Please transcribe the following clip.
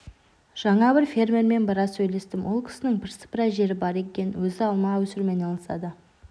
жаңа бір фермермен біраз сөйлестім ол кісінің бірсыпыра жері бар екен өз алма өсірумен айналысады